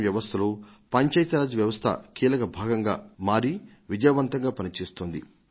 ఇంకా ఇది మన ప్రజాస్వామిక వ్యవస్థలో ఒక ముఖ్యమైన భాగంగా మారి విజయవంతంగా పని చేస్తోంది కూడాను